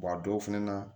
a dɔw fɛnɛ na